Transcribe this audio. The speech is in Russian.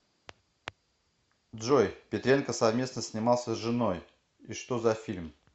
джой петренко совместно снимался с женои и что за фильм